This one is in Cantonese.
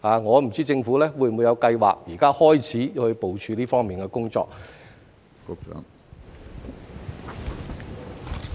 我不知政府有否計劃現時開始部署這方面的工作。